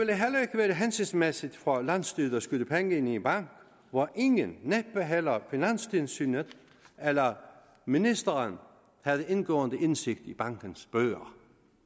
være hensigtsmæssigt for landsstyret at skyde penge i en bank hvor ingen næppe heller finanstilsynet eller ministeren havde indgående indsigt i bankens bøger